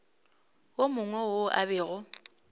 yo mongwe yo a bego